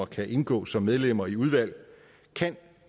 kan indgå som medlemmer i udvalg kan